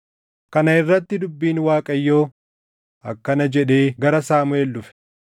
Kana irratti dubbiin Waaqayyoo akkana jedhee gara Saamuʼeel dhufe;